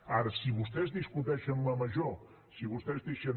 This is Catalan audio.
ara si vostès discuteixen la major si vostès deixen